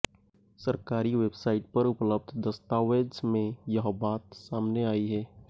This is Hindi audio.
सरकारी वेबसाइट पर उपलब्ध दस्तावेज में यह बात सामने आई है